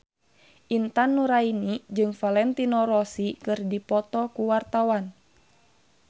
Intan Nuraini jeung Valentino Rossi keur dipoto ku wartawan